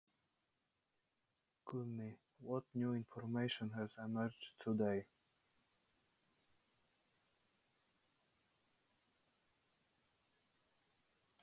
Guðný: Hvaða nýju upplýsingar hafa komið fram í dag?